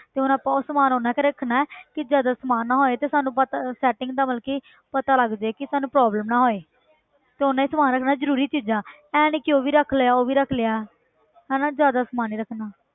ਤੇ ਹੁਣ ਆਪਾਂ ਉਹ ਸਮਾਨ ਓਨਾ ਕੁ ਰੱਖਣਾ ਹੈ ਕਿ ਜਦੋਂ ਸਮਾਨ ਨਾ ਹੋਏ ਤੇ ਸਾਨੂੰ but setting ਦਾ ਮਤਲਬ ਕਿ ਪਤਾ ਲੱਗ ਜਾਏ ਕਿ ਸਾਨੂੰ problem ਨਾ ਹੋਏ ਤੇ ਓਨਾ ਹੀ ਸਮਾਨ ਰੱਖਣਾ ਜ਼ਰੂਰੀ ਚੀਜ਼ਾਂ ਇਹ ਨੀ ਕਿ ਉਹ ਵੀ ਰੱਖ ਲਿਆ ਉਹ ਵੀ ਰੱਖ ਲਿਆ ਹਨਾ ਜ਼ਿਆਦਾ ਸਮਾਨ ਨੀ ਰੱਖਣ।